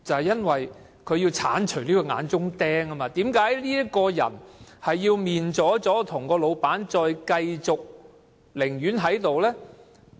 因為他要鏟除這口眼中釘，而為甚麼該僱員跟老闆"面左左"，仍要繼續在那裏工作？